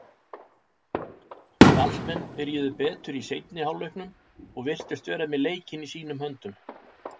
Valsmenn byrjuðu betur í seinni hálfleiknum og virtust vera með leikinn í sínum höndum.